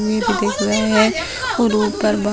भी दिख रहा है और ऊपर बह --